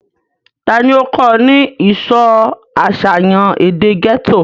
ta ni ó kọ́ ọ ní ìsọ àṣàyàn èdè gẹ́tò?